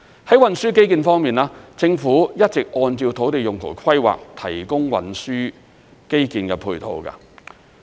在運輸基建方面，政府一直按照土地用途規劃提供運輸基建配套。